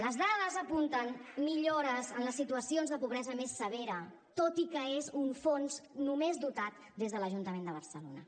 les dades apunten millores en les situacions de pobresa més severa tot i que és un fons només dotat des de l’ajuntament de barcelona